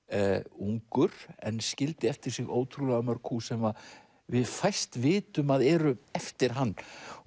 ungur en skildi eftir sig ótrúlega mörg hús sem við fæst vitum að eru eftir hann